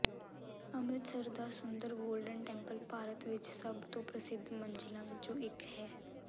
ਅੰਮਿ੍ਰਤਸਰ ਦਾ ਸੁੰਦਰ Golden Temple Bharat ਵਿਚ ਸਭਤੋਂ ਪ੍ਰਸਿੱਧ ਮੰਜ਼ਿਲਾਂ ਵਿੱਚੋਂ ਇੱਕ ਹੈ